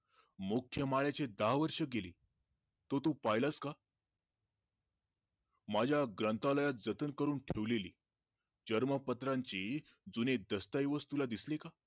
मोखय दहा वर्ष गेली तो तु पहिलास का? माझ्या ग्रंथालयात जतन करून ठेवलेली चर्मपत्रांची जूनी दस्तऐवज तुला दिसले का?